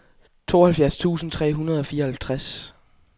tooghalvfjerds tusind tre hundrede og fireoghalvtreds